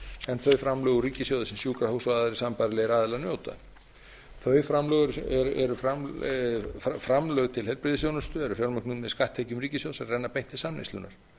en þau framlög úr ríkissjóði sem sjúkrahús og aðrir sambærilegir aðilar njóta þau framlög til heilbrigðisþjónustu eru fjármögnuð með skatttekjum ríkissjóðs sem renna beint til samneyslunnar